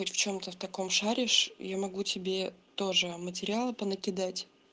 хоть в чем-то в таком шаришь я могу тебе тоже материалы понакидать